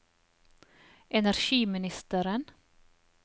energiministeren